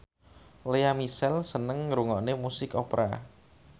Lea Michele seneng ngrungokne musik opera